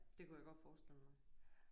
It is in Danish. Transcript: Det kunne jeg godt forestille mig